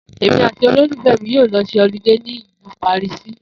Èmí àti olólùfé̩ mi yóò lo s̩e olidé ní ilu Pàríìsì